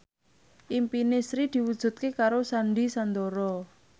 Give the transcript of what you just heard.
impine Sri diwujudke karo Sandy Sandoro